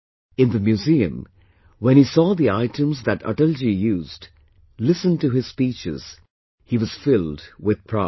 In the museum, when he saw the items that Atalji used, listened to his speeches, he was filled with pride